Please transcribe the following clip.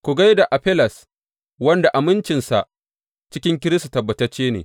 Ku gai da Afelles wanda amincinsa cikin Kiristi tabbatacce ne.